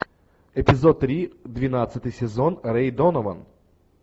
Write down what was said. эпизод три двенадцатый сезон рэй донован